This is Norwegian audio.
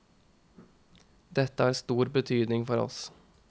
Dette har stor betydning for oss.